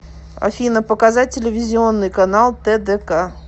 афина показать телевизионный канал тдк